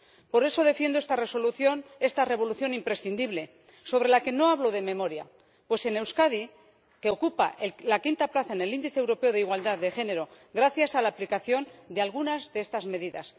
Por eso defiendo esta Resolución, esta revolución imprescindible, sobre la que no hablo de memoria, pues Euskadi ocupa la quinta plaza en el índice europeo de igualdad de género gracias a la aplicación de algunas de estas medidas.